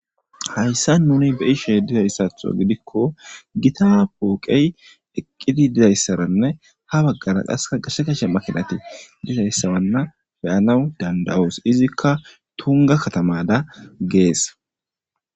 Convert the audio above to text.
hayssa nuni beyishey dizayssatho gidikko gita puuqey eqqidi dizayssaranne ha baggara qaska gashe kashe makinati dizayssawanna beyanaw danda7oos izikka tunga katamada gees